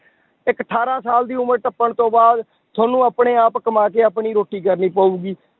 ਇੱਕ ਅਠਾਰਾਂ ਸਾਲ ਦੀ ਉਮਰ ਟੱਪਣ ਤੋਂ ਬਾਅਦ ਤੁਹਾਨੂੰ ਆਪਣੇ ਆਪ ਕਮਾ ਕੇ ਆਪਣੀ ਰੋਟੀ ਕਰਨੀ ਪਊਗੀ।